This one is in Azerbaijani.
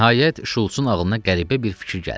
Nəhayət, Şults-un ağlına qəribə bir fikir gəldi.